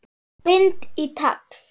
Bind í tagl.